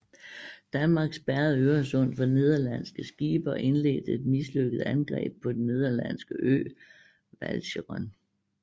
Danmark spærrede Øresund for nederlandske skibe og indledte et mislykket angreb på den nederlandske ø Walcheren